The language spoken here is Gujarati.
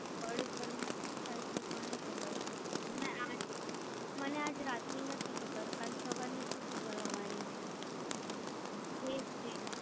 પાડોશ ઘર માં શું થઇ છેએ કોને ખબર છે? મને આજ રાત ની નથી ખબર કલ સવારની શું ખબર હોવાની છે, એજ છે.